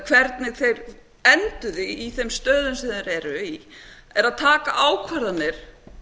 hvernig þeir enduðu í þeim stöðum sem þeir eru í er að taka ákvarðanir